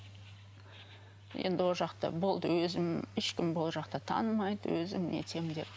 енді ол жақта болды өзім ешкім бұл жақта танымайды өзім нетем деп